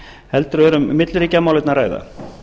heldur er um milliríkjamálefni að ræða